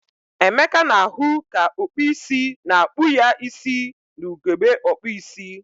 Emeka na-ahu ka okpu isi na-akpu ya isi na ugegbe okpu isi.